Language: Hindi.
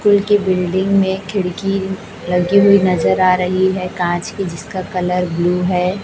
स्कूल की बिल्डिंग में खिड़की लगी हुई नजर आ रही है कांच की जिसका कलर ब्लू है।